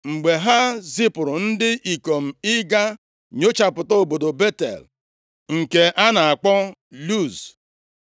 Mgbe ha zipuru ndị ikom ịga nyochapụta obodo Betel, nke a na-akpọ Luz,